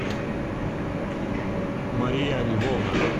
мария львовна